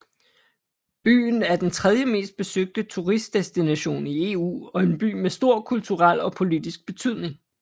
Byen er den tredjemest besøgte turistdestination i EU og en by med stor kulturel og politisk betydning